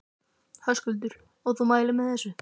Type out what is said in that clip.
Höskuldur: Og þú mælir með þessu?